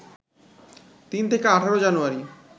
৩ থেকে ১৮ জানুয়ারি